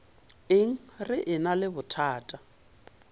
eng re ena le bothata